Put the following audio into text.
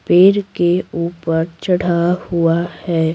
पेड़ के ऊपर चढ़ा हुआ है।